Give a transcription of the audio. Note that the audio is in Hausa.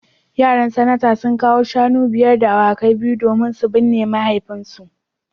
Yaran Sanata sun kawo shanu biyar da awakai biyu domin su binne mahaifinsu